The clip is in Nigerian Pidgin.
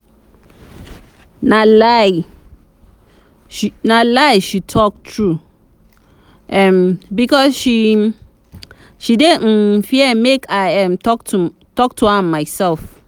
na lie she no talk true um because she dey um fear make i um talk to am myself